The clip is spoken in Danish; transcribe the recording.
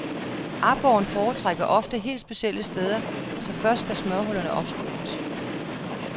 Aborren foretrækker ofte helt specielle steder, så først skal smørhullerne opspores.